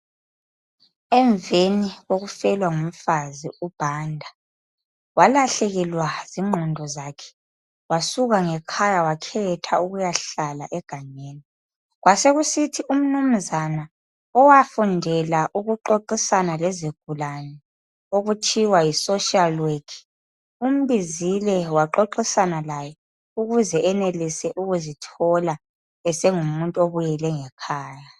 Emveni kokufelwa ngumfazi uBhanda , walahlekelwa zingqondo zakhe wasuka ngekhaya wakhetha ukuyahlala egangeni. Kwasekuthi umnumzana owafundela ukuxoxisana lezigulane okuthiwa yi soshali wekhi umbizile waxoxisana laye ukuze enelise ukuzithola esengumuntu obuyele ngekhaya.